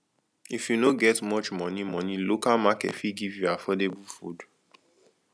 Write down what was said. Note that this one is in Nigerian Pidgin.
if you no get much money money local market fit give you affordable food